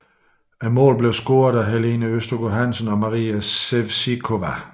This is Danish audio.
Målene blev scoret af Helene Østergaard Hansen og Maria Sevcikova